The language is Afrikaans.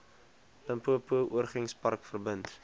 limpopo oorgrenspark verbind